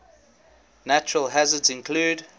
natural hazards include